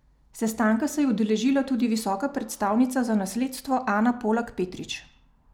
Sestanka se je udeležila tudi visoka predstavnica za nasledstvo Ana Polak Petrič.